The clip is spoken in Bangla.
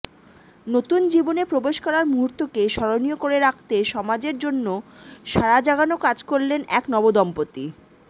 নতুন জীবনে প্রবেশ করার মুহূর্তকে স্মরণীয় করে রাখতে সমাজের জন্য সাড়াজাগানো কাজ করলেন এক নবদম্পতি